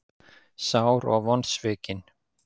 Sár og vonsvikin.